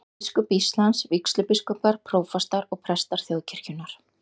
Biskup Íslands, vígslubiskupar, prófastar og prestar þjóðkirkjunnar.